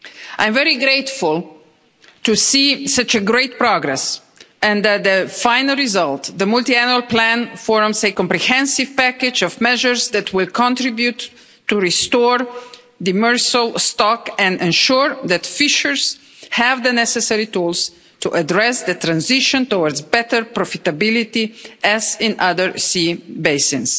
I'm very grateful to see such great progress and that the final result, the multiannual plan, forms a comprehensive package of measures that will contribute to restoring demersal stock and ensuring that fishers have the necessary tools to address the transition towards better profitability, as in other sea basins.